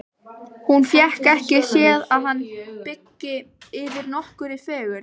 Hún fékk ekki séð að hann byggi yfir nokkurri fegurð.